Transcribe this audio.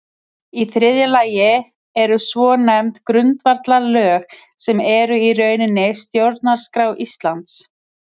Í þriðja lagi eru svonefnd grundvallarlög sem eru í rauninni stjórnarskrá Íslands.